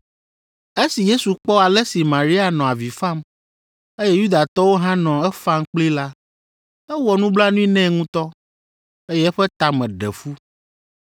Esi Yesu kpɔ ale si Maria nɔ avi fam, eye Yudatɔwo hã nɔ efam kplii la, ewɔ nublanui nɛ ŋutɔ, eye eƒe ta me ɖe fu.